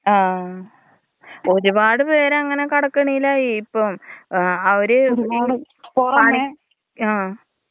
ആ ഒരുപാട് പേരങ്ങനെ കടക്കെണിയിലായി ഇപ്പം ഏ അവര് *നോട്ട്‌ ക്ലിയർ* ആ.